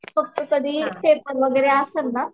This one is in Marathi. फक्त कधी पेपर वगैरे असेल ना